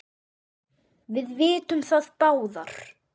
Við vitum það báðar.